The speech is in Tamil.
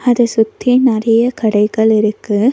அத சுத்தி நெறைய கடைகள் இருக்கு.